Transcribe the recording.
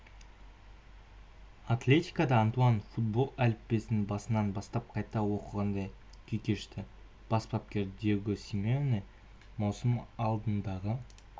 атлетикода антуан футбол әліппесін басынан бастап қайта оқығандай күй кешті бас бапкер диего симеоне маусым алдындағы